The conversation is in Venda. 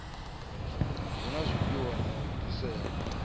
na zwifhiwa na u bviselwa